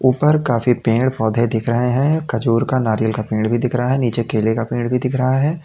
ऊपर काफी पेड़ पौधे दिख रहे हैं खजूर का नारियल का पेड़ भी दिख रहा है नीचे केले का पेड़ भी दिख रहा है।